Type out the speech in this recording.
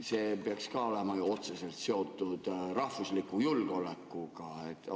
See peaks olema ju ka otseselt seotud rahvusliku julgeolekuga.